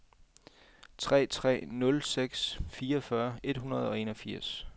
tre tre nul seks fireogfyrre et hundrede og enogfirs